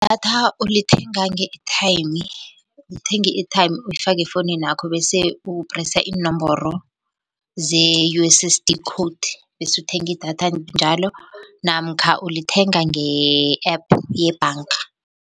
Idatha ulithenga nge-airtime, uthenga i-airtime uyifake efowunini yakho bese upresa iinomboro ze-U_S_S_D code, bese uthenga idatha njalo namkha ulithenga nge-app yebhanga.